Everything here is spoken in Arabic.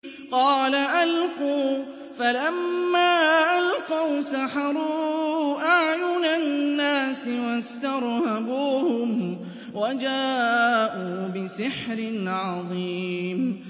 قَالَ أَلْقُوا ۖ فَلَمَّا أَلْقَوْا سَحَرُوا أَعْيُنَ النَّاسِ وَاسْتَرْهَبُوهُمْ وَجَاءُوا بِسِحْرٍ عَظِيمٍ